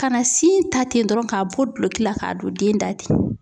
Kana sin ta ten dɔrɔn k'a bɔ duloki la k'a don den da ten.